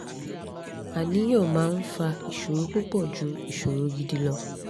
àníyàn máa ń fa ìṣòro púpọ̀ ju ìṣòro gidi lọ